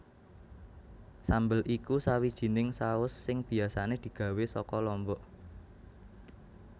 Sambel iku sawijining saus sing biasané digawé saka lombok